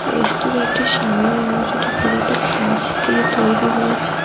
রেস্তোরাঁটির সামনের অংশটি পুরোটা কাচ দিয়ে তৈরি হয়েছে।